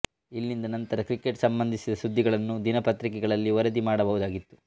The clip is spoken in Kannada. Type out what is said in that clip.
ಇಲ್ಲಿಂದ ನಂತರ ಕ್ರಿಕೆಟ್ ಸಂಬಂಧಿಸಿದ ಸುದ್ದಿಗಳನ್ನು ದಿನಪತ್ರಿಕೆಗಳಲ್ಲಿ ವರದಿ ಮಾಡಬಹುದಾಗಿತ್ತು